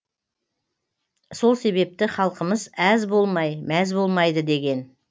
сол себепті халқымыз әз болмай мәз болмайды деген